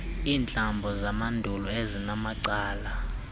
iintlambo zamandulo ezinamacala